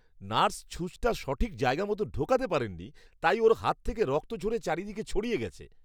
Nurse ছুঁচটা সঠিক জায়গামতো ঢোকাতে পারেননি, তাই ওঁর হাত থেকে রক্ত ঝরে চারিদিকে ছড়িয়ে গেছে।